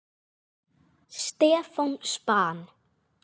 Stefán: Span?!